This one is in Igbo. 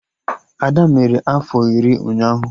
Ada mere afọ iri ụnyaahụ